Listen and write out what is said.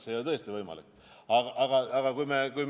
See ei ole tõesti võimalik!